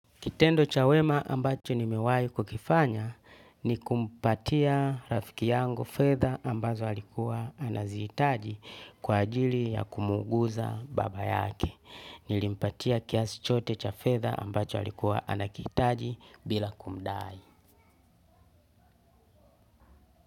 Kitendo cha wema ambacho nimewahi kukifanya ni kumpatia rafiki yangu fedha ambazo alikuwa anazihitaji kwa ajili ya kumuuguza baba yake. Nilimpatia kiasi chote cha fedha ambacho alikuwa anakihitaji bila kumdai.